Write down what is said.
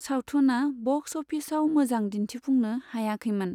सावथुना बक्स अफिसाव मोजां दिन्थिफुंनो हायाखैमोन।